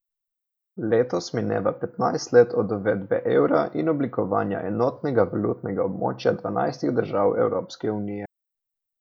Letos mineva petnajst let od uvedbe evra in oblikovanja enotnega valutnega območja dvanajstih držav Evropske unije.